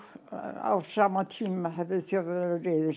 á sama tíma höfðu Þjóðverjar